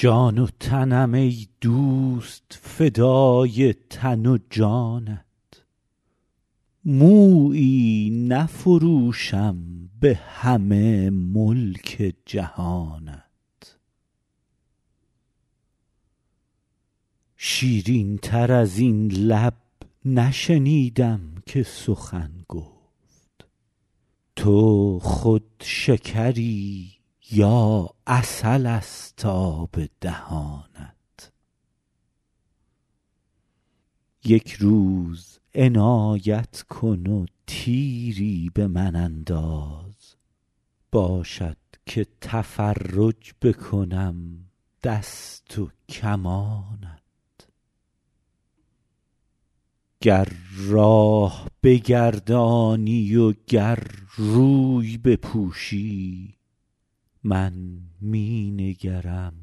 جان و تنم ای دوست فدای تن و جانت مویی نفروشم به همه ملک جهانت شیرین تر از این لب نشنیدم که سخن گفت تو خود شکری یا عسل ست آب دهانت یک روز عنایت کن و تیری به من انداز باشد که تفرج بکنم دست و کمانت گر راه بگردانی و گر روی بپوشی من می نگرم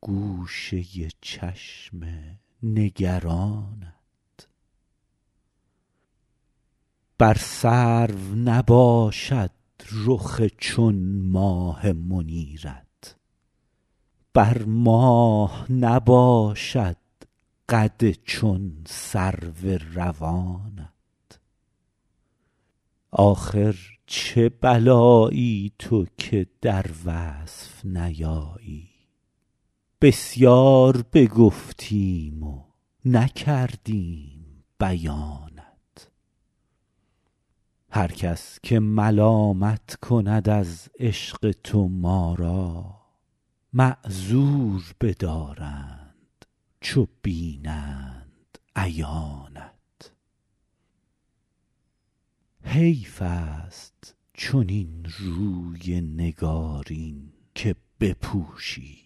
گوشه چشم نگرانت بر سرو نباشد رخ چون ماه منیرت بر ماه نباشد قد چون سرو روانت آخر چه بلایی تو که در وصف نیایی بسیار بگفتیم و نکردیم بیانت هر کس که ملامت کند از عشق تو ما را معذور بدارند چو بینند عیانت حیف ست چنین روی نگارین که بپوشی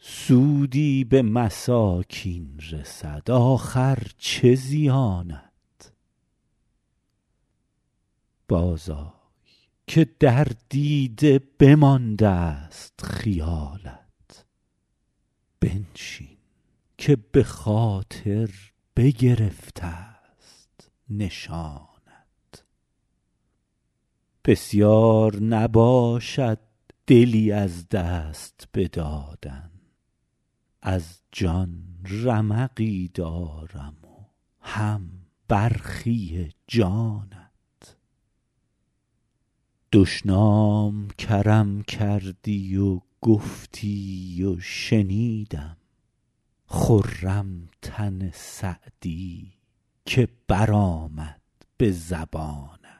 سودی به مساکین رسد آخر چه زیانت بازآی که در دیده بماندست خیالت بنشین که به خاطر بگرفت ست نشانت بسیار نباشد دلی از دست بدادن از جان رمقی دارم و هم برخی جانت دشنام کرم کردی و گفتی و شنیدم خرم تن سعدی که برآمد به زبانت